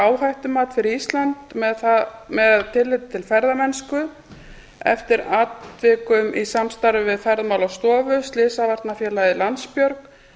áhættumat fyrir ísland með tilliti til ferðamennsku eftir atvikum í samstarfi við ferðamálastofu slysavarnafélagið landsbjörg